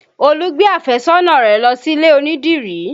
Olú gbé àfẹ́sọ́nà rẹ lọ sílè onídìrí